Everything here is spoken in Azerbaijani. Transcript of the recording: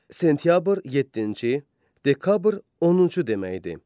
Sentyabr yeddinci, Dekabr 10-cu deməkdir.